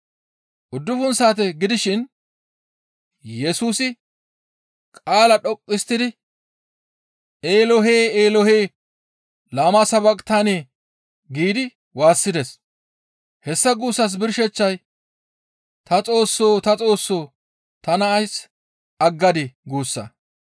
Uddufun saate gidishin Yesusi qaalaa dhoqqu histtidi, «Eelohe! Eelohe! Lama sabaqitane» giidi waassides. Hessa guussas birsheththay, «Ta Xoossoo! Ta Xoossoo! Tana ays aggadii?» guussa.